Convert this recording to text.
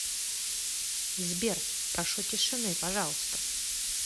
сбер прошу тишины пожалуйста